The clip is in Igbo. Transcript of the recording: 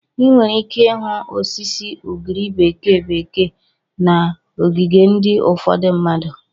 Ị nwere ike ịhụ osisi ugiri bekee bekee na ogige ndị ufodu mmadụ.